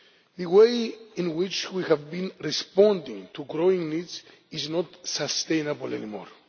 The way in which we have been responding to growing needs is not sustainable any more.